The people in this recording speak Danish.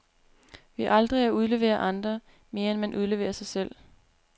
Ved aldrig at udlevere andre, mere end man udleverer sig selv.